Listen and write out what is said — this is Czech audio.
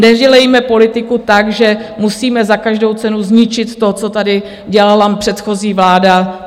Nedělejme politiku tak, že musíme za každou cenu zničit to, co tady dělala předchozí vláda.